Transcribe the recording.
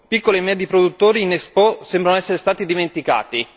Piccoli e medi produttori in Expo sembrano essere stati dimenticati.